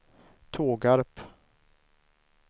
Tågarp